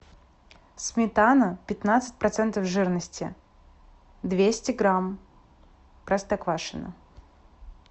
сметана пятнадцать процентов жирности двести грамм простоквашино